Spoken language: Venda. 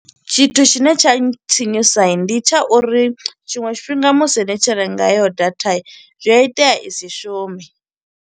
Tshithu tshine tsha tsinyusa, ndi tsha uri tshiṅwe tshifhinga musi ni tshi renga heyo data, zwi a itea i si shume.